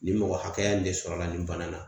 Ni mɔgɔ hakɛya nin de sɔrɔla nin fana na.